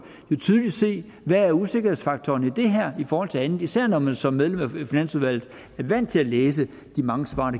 tydeligt se hvad usikkerhedsfaktoren i det her er i forhold til andet især når man som medlem af finansudvalget er vant til at læse de mange svar